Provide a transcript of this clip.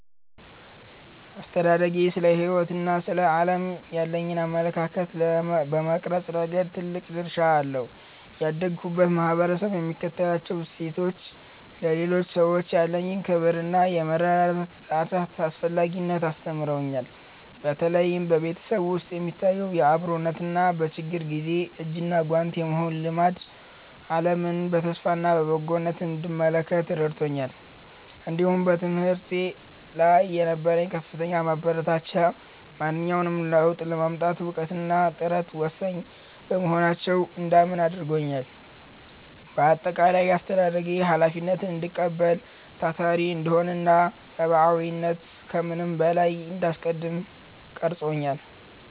አስተዳደጌ ስለ ሕይወትና ስለ ዓለም ያለኝን አመለካከት በመቅረጽ ረገድ ትልቅ ድርሻ አለው። ያደግሁበት ማኅበረሰብ የሚከተላቸው እሴቶች፣ ለሌሎች ሰዎች ያለኝን ክብርና የመረዳዳት አስፈላጊነትን አስተምረውኛል። በተለይም በቤተሰብ ውስጥ የሚታየው አብሮነትና በችግር ጊዜ እጅና ጓንት የመሆን ልማድ፣ ዓለምን በተስፋና በበጎነት እንድመለከት ረድቶኛል። እንዲሁም በትምህርት ላይ የነበረው ከፍተኛ ማበረታቻ፣ ማንኛውንም ለውጥ ለማምጣት እውቀትና ጥረት ወሳኝ መሆናቸውን እንዳምን አድርጎኛል። በአጠቃላይ፣ አስተዳደጌ ኃላፊነትን እንድቀበል፣ ታታሪ እንድሆንና ሰብዓዊነትን ከምንም በላይ እንዳስቀድም ቀርጾኛል።